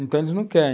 Então eles não querem.